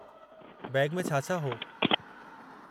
Bag में छा-छा हो?